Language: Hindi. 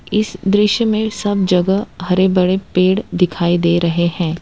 इस दृश्य में सब जगह हरे भरे पेड़ दिखाई दे रहे हैं।